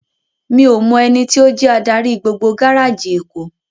Mi ó mò èniti ó jè ádári gbógbó gáráji Ékó